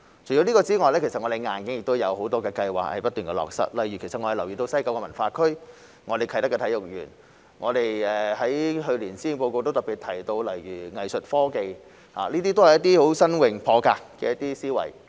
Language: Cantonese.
除此之外，我們正不斷落實很多硬件相關的計劃，例如西九文化區、啟德體育園，去年於施政報告特別提到藝術科技，這些都是新穎、破格的思維。